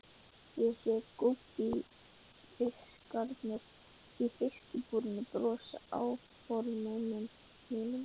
Ég sé að gúbbífiskarnir í fiskabúrinu brosa að áformum mínum.